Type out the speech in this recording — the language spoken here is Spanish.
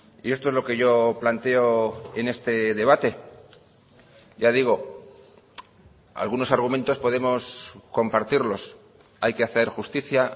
y esto es lo que yo planteo en este debate ya digo algunos argumentos podemos compartirlos hay que hacer justicia